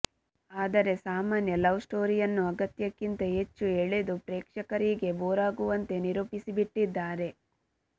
ಆದರೆ ಸಾಮಾನ್ಯ ಲವ್ ಸ್ಟೋರಿಯನ್ನು ಅಗತ್ಯಕ್ಕಿಂತ ಹೆಚ್ಚು ಎಳೆದು ಪ್ರೇಕ್ಷಕರಿಗೆ ಬೋರಾಗುವಂತೆ ನಿರೂಪಿಸಿಬಿಟ್ಟಿದ್ದಾರೆ